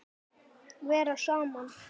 Vera saman.